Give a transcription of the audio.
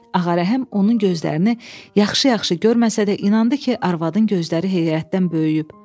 Ağarəhim onun gözlərini yaxşı-yaxşı görməsə də inandı ki, arvadın gözləri heyrətdən böyüyüb.